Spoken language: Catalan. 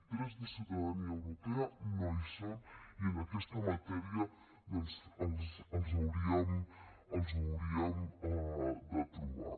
trets de ciutadania europea no hi són i en aquesta matèria doncs els hauríem de trobar